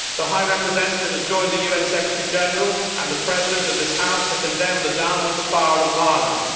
The High Representative has joined the UN Secretary General and the President of this House in condemning the downward spiral of violence.